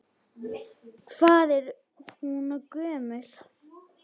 Hvað er hún gömul?